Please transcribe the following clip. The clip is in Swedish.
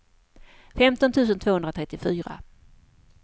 femton tusen tvåhundratrettiofyra